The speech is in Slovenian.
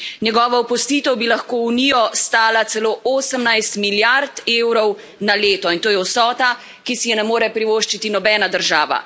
Njegova opustitev bi lahko Unijo stala celo 18 milijard evrov na leto in to je vsota, ki si je ne more privoščiti nobena država.